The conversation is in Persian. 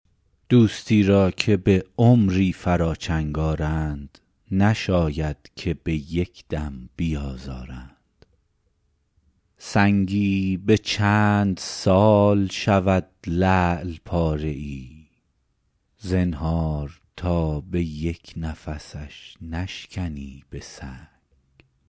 دوستی را که به عمری فرا چنگ آرند نشاید که به یک دم بیازارند سنگی به چند سال شود لعل پاره ای زنهار تا به یک نفسش نشکنی به سنگ